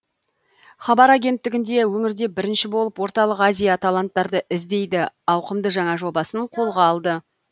хабар агенттігі өңірде бірінші болып орталық азия таланттарды іздейді ауқымды жаңа жобасын қолға алды